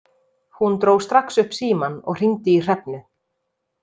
Hún dró strax upp símann og hringdi í Hrefnu.